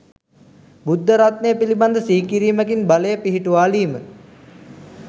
බුද්ධ රත්නය පිළිබඳ සිහි කිරීමකින් බලය පිහිටුවාලීම,